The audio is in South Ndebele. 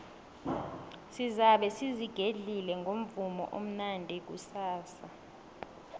sizabe sizigedle ngomvumo omnandi kusasa